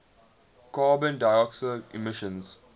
carbon dioxide emissions